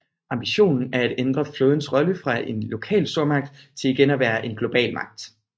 Ambitionen er at ændre flådens rolle fra en lokal stormagt til igen at være en global magt